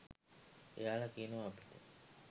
එයාල කියනව අපිට